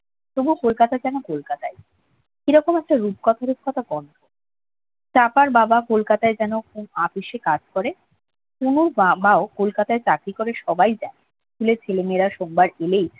তবুও কলকাতা যেন কলকাতায় কিরকম একটা রূপকথা রূপকথা চাপার বাবা কলকাতায় যেন কোন অপিশে কাজ করে পুনুর বাবাও কলকাতায় চাকরি করে সবাই জানে স্কুলের ছেলে মেয়েরা সোমবার এলেই